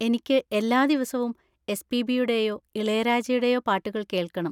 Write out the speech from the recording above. എനിക്ക് എല്ലാ ദിവസവും എസ്.പി.ബി.യുടെയോ ഇളയരാജയുടെയോ പാട്ടുകൾ കേൾക്കണം.